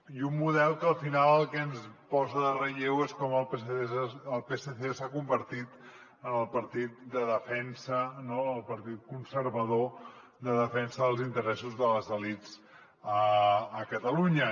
i un model que al final el que ens posa en relleu és com el psc s’ha convertit en el partit de defensa no el partit conservador de defensa dels interessos de les elits a catalunya